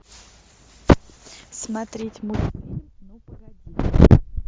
смотреть мультфильм ну погоди